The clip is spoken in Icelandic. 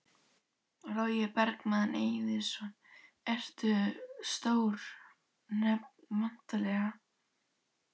Logi Bergmann Eiðsson: Eru stór nöfn væntanleg?